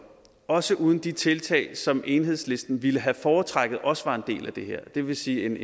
også uden de tiltag som enhedslisten ville have foretrukket også var en del af det her det vil sige